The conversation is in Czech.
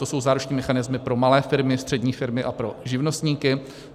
To jsou záruční mechanismy pro malé firmy, střední firmy a pro živnostníky.